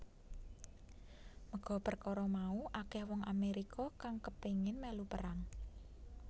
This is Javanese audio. Merga perkara mau akeh wong Amérika kang kepéngin mèlu perang